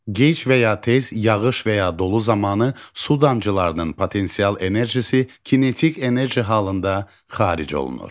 Gec və ya tez, yağış və ya dolu zamanı su damcılarının potensial enerjisi kinetik enerji halında xaric olunur.